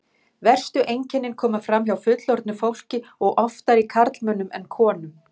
Verstu einkennin koma fram hjá fullorðnu fólki og oftar í karlmönnum en konum.